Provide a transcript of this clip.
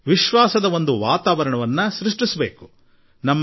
ಒಂದು ವಿಶ್ವಾಸದ ವಾತಾವರಣ ನಿರ್ಮಾಣ ಮಾಡುವುದು ಅಗತ್ಯ